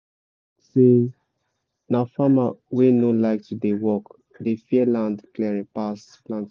say na farmer wey no like to dey work dey fear land clearing pass planting